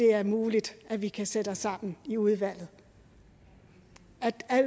er muligt at vi kan sætte os sammen i udvalget